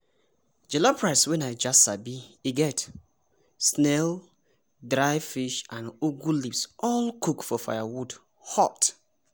jollof rice wey naija sabi e get snail dry fish and ugu leaves all cooked for firewood hot!